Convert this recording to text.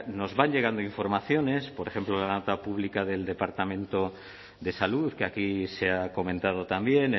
nos van llegando informaciones por ejemplo la pública del departamento de salud que aquí se ha comentado también